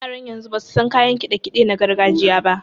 Yaran yanzu basu san kayan kiɗe-kiɗe na gargajiya ba.